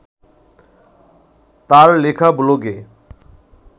তাঁর লেখা ব্লগে